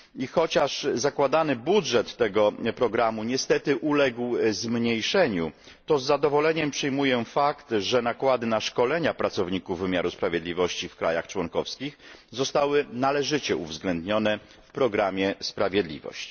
Chociaż zakładany budżet tego programu niestety uległ zmniejszeniu, to z zadowoleniem przyjmuję fakt, że nakłady na szkolenia pracowników wymiaru sprawiedliwości w krajach członkowskich zostały należycie uwzględnione w programie Sprawiedliwość.